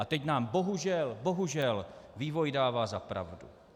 A teď nám bohužel, bohužel vývoj dává za pravdu.